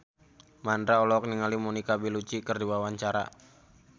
Mandra olohok ningali Monica Belluci keur diwawancara